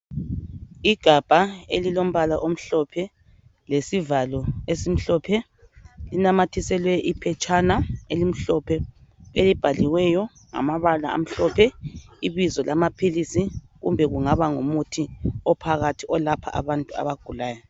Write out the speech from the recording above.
Igabha elilombala omhlophe lesivalo esimhlophe. Linamathiselwe iphetshana elimhlophe elibhaliweyo ngamabala amhlophe ibizo lamaphilisi kumbe kungaba ngumuthi ophakathi olapha abantu abagulayo.